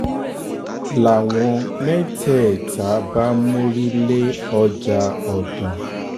làwọn mẹ́tẹ̀ẹ̀ta bá mórí lé lé ọjà ọ̀dàn